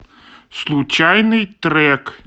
случайный трек